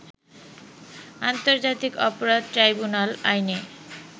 আন্তর্জাতিক অপরাধ ট্রাইবুনাল আইনে